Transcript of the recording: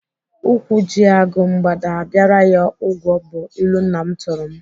Ụkwụ ji agụ, mgbada abịara ya ụgwọ bụ ilu nna m tụrụ m.